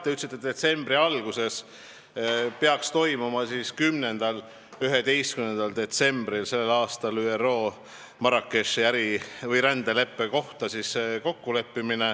Te ütlesite, et detsembri alguses, 10.–11. detsembril peaks ÜRO Marrakechis sõlmima äri- või rändeleppe.